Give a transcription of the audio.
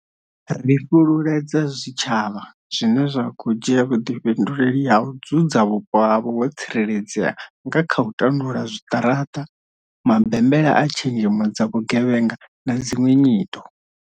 Ri fhululedza zwitshavha zwine zwa khou dzhia vhuḓifhinduleli ha u dzudza vhupo havho ho tsireledzea nga kha u tandula zwiṱaraṱa, mabembela a tshenzhemo dza vhugevhenga na dziṅwe nyito.